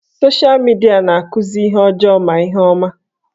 Sosha midia na-akụzi ihe ọjọọ ma ihe ọma